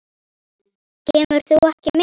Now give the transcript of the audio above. Kemur þú ekki með?